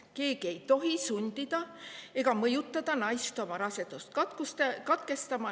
Keegi ei tohi sundida ega mõjutada naist oma rasedust katkestama.